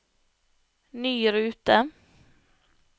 ny rute